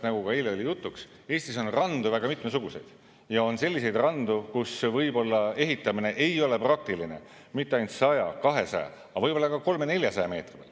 Nagu ka eile oli jutuks, Eestis on randu väga mitmesuguseid ja on selliseid randu, kus võib-olla ehitamine ei ole praktiline mitte ainult 100, 200, aga võib-olla ka 300–400 meetri peal.